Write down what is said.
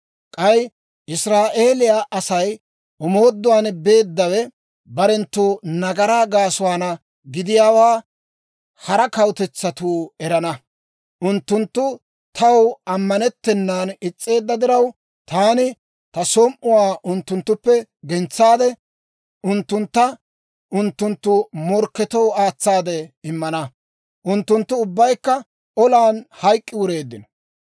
K'ay Israa'eeliyaa Asay omooduwaan beeddawe barenttu nagaraa gaasuwaana gidiyaawaa hara kawutetsatuu erana. Unttunttu taw ammanettennan is's'eedda diraw, taani ta som"uwaa unttunttuppe gentsaade, unttuntta unttunttu morkketoo aatsaade immaad; unttunttu ubbaykka olan hayk'k'i wureeddino.